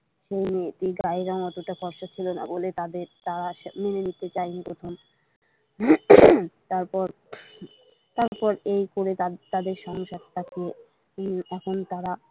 সেই মেয়েটির গায়ের রং অতটা ফরসা ছিল না বলে তার মেনে নিতে চায়নি প্রথম উম তারপর এই করে তাদের সংসারটাকে এখন তারা।